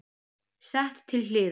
Sett til hliðar.